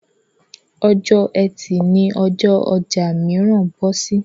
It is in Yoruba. Ọjọ́ Ẹtì ni ọjọ́ ọjà mìíràn bọ́ sí.